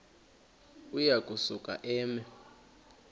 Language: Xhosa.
uya kusuka eme